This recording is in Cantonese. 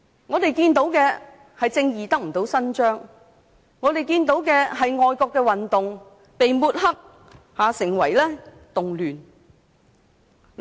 我們看到的是正義不獲伸張，我們看到的是愛國運動被抹黑成為動亂。